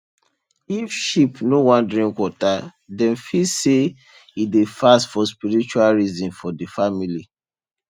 if sheep no wan drink water dem fit say e dey fast for spiritual reason for the family